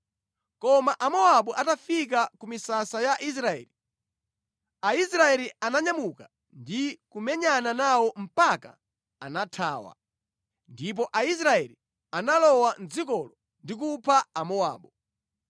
Koma Amowabu atafika ku misasa ya Israeli, Aisraeli ananyamuka ndi kumenyana nawo mpaka anathawa. Ndipo Aisraeli analowa mʼdzikolo ndi kupha Amowabu.